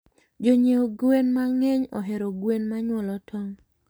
Jonyie gwen mangeny ohero gwen manyuolo tong